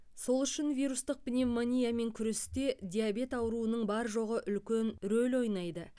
сол үшін вирустық пневмониямен күресте диабет ауруының бар жоғы үлкен рөл ойнайды